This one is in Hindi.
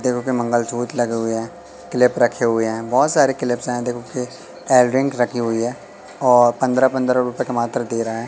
देखो की मंगलसूत्र लगे हुए है क्लिप रखे हुई है बहोत सारे क्लिप है देखोगे कि इयररिंग रखी हुई है और पंद्रह पंद्रह रुपए के मात्र दे रहे है।